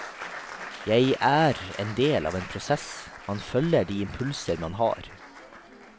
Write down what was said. Jeg er endel av en prosess, man følger de impulser man har.